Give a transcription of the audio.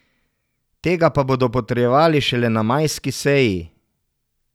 Tega pa bodo potrjevali šele na majski seji.